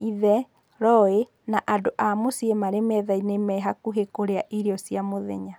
Ithe, Roy, na andũ a mũcĩĩ marĩ methainĩ mehakũhĩ kũrĩa irio cia mũthenya.